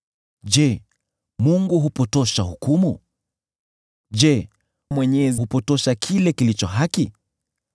Je, Mungu hupotosha hukumu? Je, Mwenyezi hupotosha kile kilicho haki?